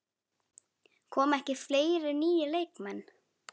Koma ekki fleiri nýir leikmenn?